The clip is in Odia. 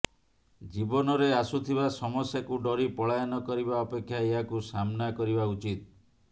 ଜୀବନରେ ଆସୁଥିବା ସମସ୍ୟାକୁ ଡରି ପଳାୟନ କରିବା ଅପେକ୍ଷା ଏହାକୁ ସାମ୍ନା କରିବା ଉଚିତ୍